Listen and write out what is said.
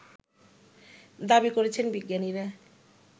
দাবি করেছেন বিজ্ঞানীরা